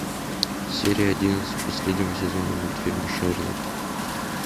серия одиннадцать последнего сезона мультфильма шерлок